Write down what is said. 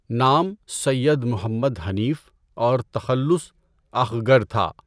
نام سیّد محمد حنیف اور تخلص اخگرؔ تھا۔